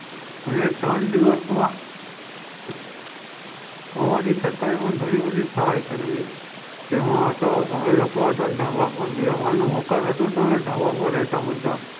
અને ત્રણ દિવસ માં અમારી સરકાર ને પણ ઘણી બધી સહાય કરેલી તેમાં તો અમે લોકો ધાબા ઉપર બે માલ નું મકાન હતું તો અમે ધાબા ઉપર રહેતા બધા,